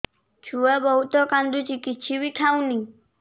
ଛୁଆ ବହୁତ୍ କାନ୍ଦୁଚି କିଛିବି ଖାଉନି